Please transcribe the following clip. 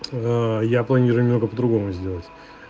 ээ я планирую немного по-другому сделать